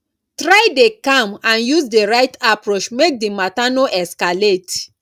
try de calm and use di right approach make di matter no escalate